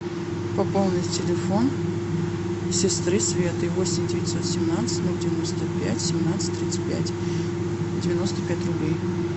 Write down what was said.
пополнить телефон сестры светы восемь девятьсот семнадцать ноль девяносто пять семнадцать тридцать пять девяносто пять рублей